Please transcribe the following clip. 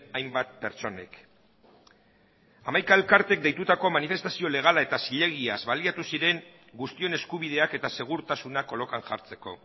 hainbat pertsonek hamaika elkartek deitutako manifestazio legala eta zilegiaz baliatu ziren guztion eskubideak eta segurtasuna kolokan jartzeko